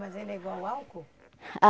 Mas ele é igual álcool?